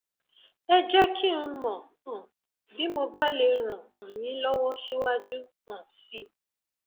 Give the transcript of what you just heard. ẹ jẹ kí n mọ um bí mo bá lè ràn um yín lọwọ síwájú um sí i